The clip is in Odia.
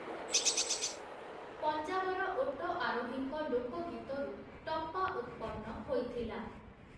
ପଞ୍ଜାବର ଓଟ ଆରୋହୀଙ୍କ ଲୋକଗୀତରୁ ଟପ୍ପା ଉତ୍ପନ୍ନ ହୋଇଥିଲା ।